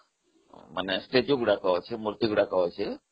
ସେଠି statue ମୂର୍ତ୍ତି ଗୁଡିକ ଅଛି